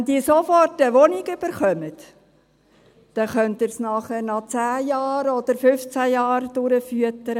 Wenn die sofort eine Wohnung bekommen, dann können Sie sie nachher noch 10 Jahre oder 15 Jahre durchfüttern.